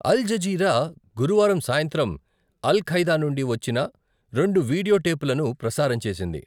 అల్ Jazeera గురువారం సాయంత్రం Al Qaeda నుండి వచ్చిన రెండు వీడియో టేపులను ప్రసారం చేసింది.